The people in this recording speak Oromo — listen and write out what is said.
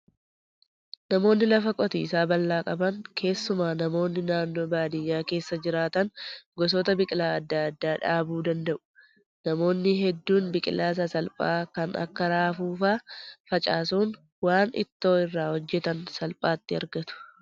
Namoonni lafa qotiisaa bal'aa qaban keessumaa namoonni naannoo baadiyyaa keessa jiraatan gosoota biqilaa adda addaa dhaabuu danda'u. Namoonni hedduun biqilaa sasalphaa kan akka raafuu fa'aa facaasuun waan ittoo irraa hojjatan salphaatti argatu.